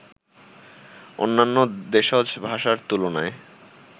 অন্যান্য দেশজ ভাষার তুলনায়